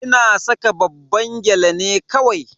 Ina saka babban gyale ne kawai.